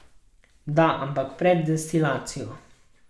Da, ampak pred destilacijo.